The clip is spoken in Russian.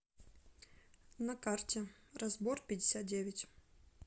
на карте разборпятьдесятдевять